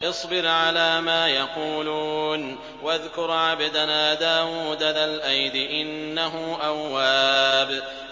اصْبِرْ عَلَىٰ مَا يَقُولُونَ وَاذْكُرْ عَبْدَنَا دَاوُودَ ذَا الْأَيْدِ ۖ إِنَّهُ أَوَّابٌ